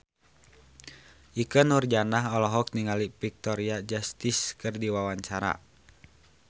Ikke Nurjanah olohok ningali Victoria Justice keur diwawancara